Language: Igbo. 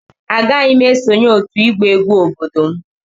Agaghị m esonyere otu egba egwu obodo m.